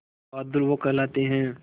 बहादुर वो कहलाते हैं